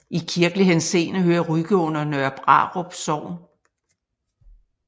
I kirkelig henseende hører Rygge under Nørre Brarup Sogn